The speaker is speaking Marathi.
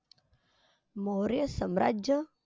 मौर्य साम्राज्य?